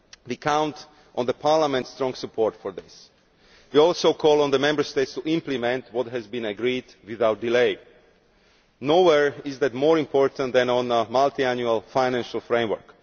We count on Parliament's strong support for this, and we also call on the Member States to implement what has been agreed without delay. Nowhere is that more important than on the Multiannual Financial Framework.